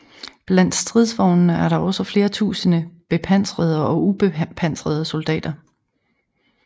Blandt stridsvognene er der også flere tusinde bepanserede og ubepanserede soldater